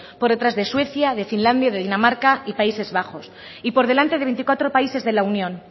por detrás de suecia de finlandia de dinamarca y países bajos y por delante de veinticuatro países de la unión